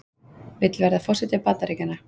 Vill verða forseti Bandaríkjanna